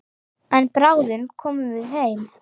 En bráðum komum við heim.